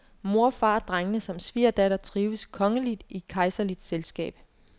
Mor, far og drengene samt svigerdatter trives kongeligt i kejserligt selskab.